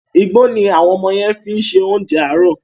Igbó ni àwọn ọmọ yẹn fi ń ṣe oúnjẹ àárọ̀.